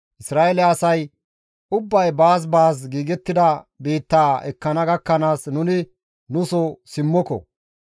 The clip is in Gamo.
Isra7eele asay ubbay baas baas giigettida biittaa ekkana gakkanaas nuni nuso simmoko.